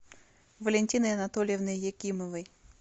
валентиной анатольевной якимовой